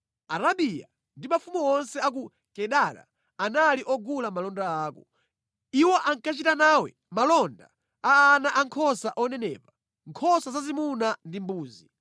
“Arabiya ndi mafumu onse a ku Kedara anali ogula malonda ako. Iwo ankachita nawe malonda a ana ankhosa onenepa, nkhosa zazimuna ndi mbuzi.